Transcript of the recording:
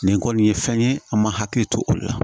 Nin kɔni ye fɛn ye an ma hakili to o de la